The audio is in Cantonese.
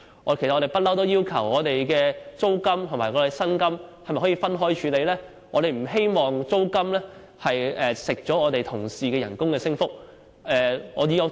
其實，我們一向要求把租金和薪金分開處理？我們不希望租金蠶食了同事的薪酬升幅。